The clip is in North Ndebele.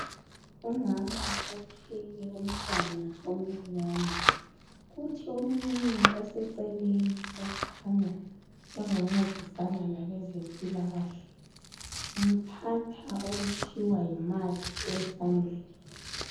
Umama othwele umtwana omcinyani, kuthi omunye oseceleni okhanya engoncedisana labezempilakahle umthatha okuthiwa yimathi esandleni.